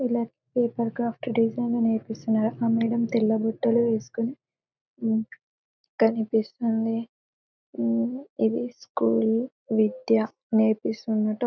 Left paper craft design నేర్పిస్తున్నారు ఆ madam తెల్ల బట్టలు వెస్కొని కనిపిస్తుంది. ఇది స్కూల విద్య నేర్పిస్తున్నట్టు --